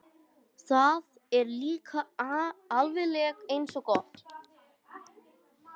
Það var líka alveg eins gott.